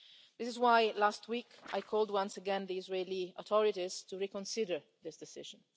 This is why last week I called once again on the Israeli authorities to reconsider this decision.